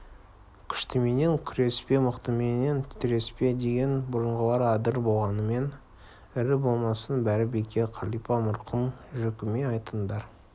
күштіменен күреспе мықтыменен тіреспе деген бұрынғылар адыр болғаныңмен ірі болмасаң бәрі бекер қалипа марқұм жөкеме айтыңдар